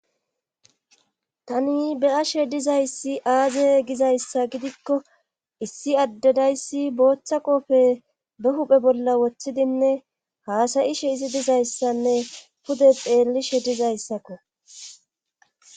Tani beyashe dizayssi aaze gizayssa gidikko issi addedayssi booththa qofe be huphe bolla wothidinne haasayishe izi dizayssanne pude pheellishe dizayssakko